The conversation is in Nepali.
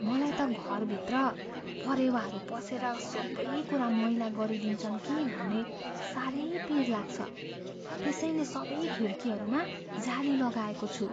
मलाई त घरभित्र परेवाहरू पसेर सबै कुरा मैला गरिदिन्छन् कि भन्ने साह्रै पिर लाग्छ। त्यसैले सबै खिड्कीहरूमा जाली लगाएको छु।